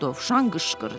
Dovşan qışqırdı.